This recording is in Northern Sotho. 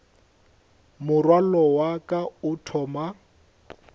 morwalo wa ka o thoma